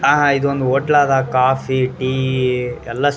ಆ ಇದೊಂದ್ ಹೊಟ್ಲಾದ ಕೋಫಿ ಟೀ ಎಲ್ಲ ಸಿಗ್ --